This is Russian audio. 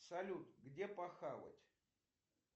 салют где похавать